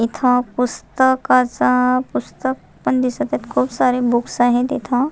इथ पुस्ताकाच पुस्तक पण दिसत खुप सारे बुक्स आहेत इथ.